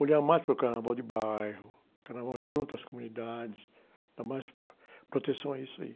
Olhar mais para o carnaval de bairro, carnaval junto às comunidades, dar mais proteção a isso aí.